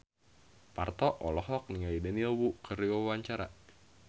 Parto olohok ningali Daniel Wu keur diwawancara